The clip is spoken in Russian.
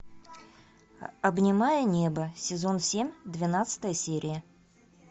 обнимая небо сезон семь двенадцатая серия